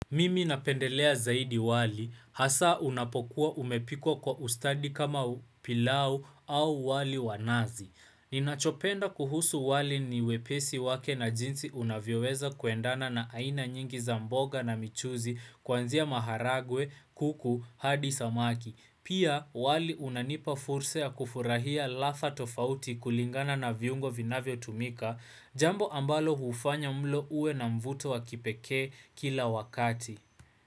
Mimi napendelea zaidi wali, hasa unapokuwa umepikwa kwa ustadi kama pilau au wali wanazi. Ninachopenda kuhusu wali ni wepesi wake na jinsi unavyoweza kuendana na aina nyingi za mboga na michuzi kuanzia maharagwe, kuku, hadi samaki. Pia wali unanipa fursa ya kufurahia ladha tofauti kulingana na viungo vinavyo tumika jambo ambalo hufanya mlo uwe na mvuto wa kipekee kila wakati.